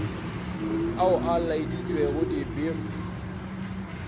ao a laeditšwego di pmb